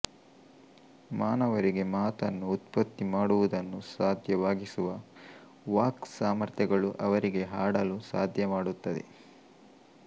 ಮಾನವರಿಗೆ ಮಾತನ್ನು ಉತ್ಪತ್ತಿಮಾಡುವುದನ್ನು ಸಾಧ್ಯವಾಗಿಸುವ ವಾಕ್ ಸಾಮರ್ಥ್ಯಗಳು ಅವರಿಗೆ ಹಾಡಲೂ ಸಾಧ್ಯಮಾಡುತ್ತದೆ